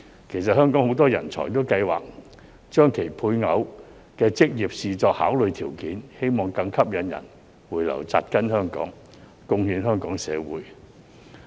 其實香港很多人才也計劃將其配偶的職業視作考慮條件，希望更吸引人回流扎根香港，貢獻香港社會。